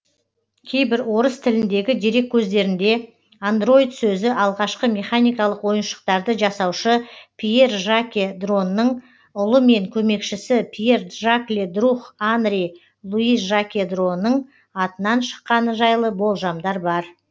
кейбір орыс тіліндегі дереккөздерінде андроид сөзі алғашқы механикалық ойыншықтарды жасаушы пьер жаке дроның ұлы мен көмекшісі пьер джакле друх анри луи жаке дроның атынан шыққаны жайлы болжамдар бар